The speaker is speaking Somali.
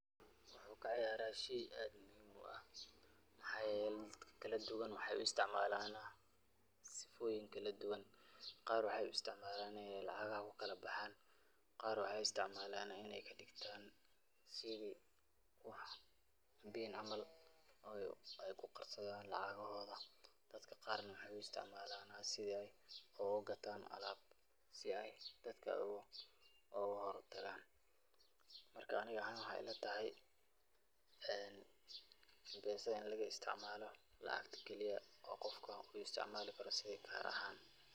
Wuxuu kaciyaara sheey aad muhiim u ah waxaa yeele dadka kala duban waxeey u istcmaalana sifooyin kala duban, qaar waxeey u istcmaalana in aay lacagaha kala baxaan, qaar waxaay u istcmaalana inaay kadigtaan sida wax [pin]camal aay ku qarsadaan lacagahooda, dadka qaar na waxaay u istcmaalana sidi aay ugu gataan alaab sida aay dadka oogu howl galaan, marka ani ahaan waxeey ila tahay [mpesa]in laga isticmaalo lacagta kaliya oo qofka ku isicmaali karo sidi kaar ahaan.